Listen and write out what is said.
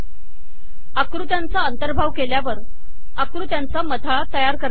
आकृत्यांचा अंतर्भाव केल्यावर आकृत्यांचा मथळा तयार करता येतो